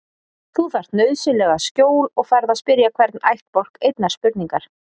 Þú þarft nauðsynlega skjól og færð að spyrja hvorn ættbálk einnar spurningar.